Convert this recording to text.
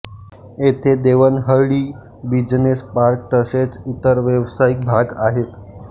येथे Devanahalli business park तसेच इतर व्यावसायिक भाग आहेत